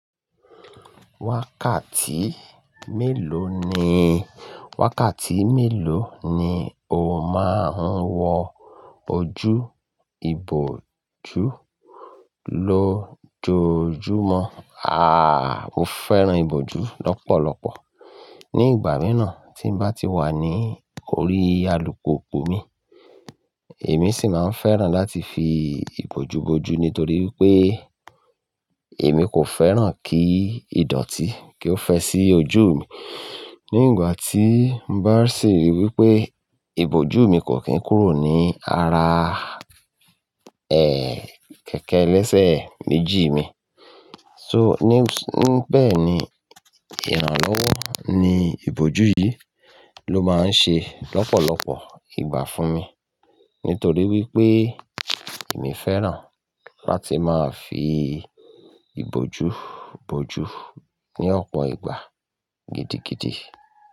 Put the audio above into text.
Wákàtí mélòó ni, wákàtí mélòó ni o máa ń wọ ojú ìbòju lójoojúmọ́? Ah! Mo fẹ́ràn ìbòju lọ́pọ̀lọpọ̀ ní ìgbà mìíràn tí n bá ti wà ní orí alùpùpù mi, èmi sì máa ń fẹ́ràn láti fi ìbòju bo ojú nítorí wípé èmi kò fẹ́ràn kí ìdọ̀tí kí ó fẹ́ sí ojú mi. Ní ìgbà tí n bá sì rí wípé ìbòju mi kò kín kúrò ní ara, ẹ́, kẹ̀kẹ́ ẹlẹ́sẹ̀ méjì mi. So, ní, níbẹ̀ ni ìrànlọ́wọ́ ni ìbòju yìí ló máa ń ṣe lọ́pọ̀lọpọ̀ ìgbà fún mi, nítorí wípé èmi fẹ́ràn láti máa fi ìbòju bo ojú ní ọ̀pọ̀ ìgbà gidigidi.